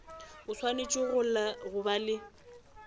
o swanetše go ba le